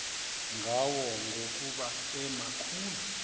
ngayo ngokuba emakhulu